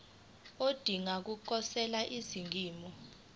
odinga ukukhosela eningizimu